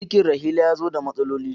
Cikin Rahila ya zo da matsaloli.